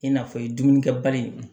I n'a fɔ dumunikɛbali in